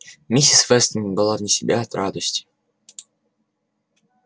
миссис вестон была вне себя от радости